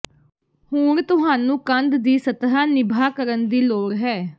ਹੁਣ ਤੁਹਾਨੂੰ ਕੰਧ ਦੀ ਸਤਹ ਨਿਭਾ ਕਰਨ ਦੀ ਲੋੜ ਹੈ